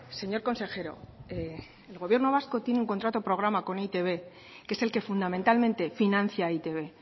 señor consejero el gobierno vasco tiene un contrato programa con e i te be que es el que fundamentalmente financia e i te be